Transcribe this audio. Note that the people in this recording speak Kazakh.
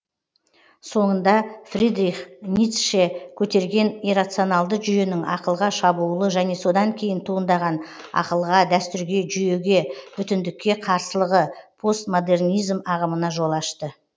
соңында фридрих ницше көтерген иррационалды жүйенің ақылға шабуылы және содан кейін туындаған ақылға дәстүрге жүйеге бүтіндікке қарсылығы постмодернизм ағымына жол ашты